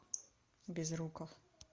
безруков